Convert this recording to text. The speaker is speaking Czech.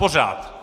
Pořád!